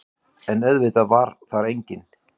En auðvitað var þar enginn.